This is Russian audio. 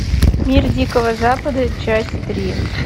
мир дикого запада часть три